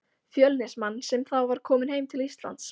Fjölnismann, sem þá var kominn heim til Íslands.